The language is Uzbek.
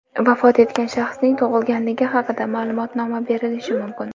vafot etgan shaxsning tug‘ilganligi haqida maʼlumotnoma berilishi mumkin.